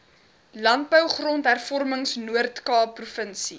landbou grondhervormingnoordkaap provinsie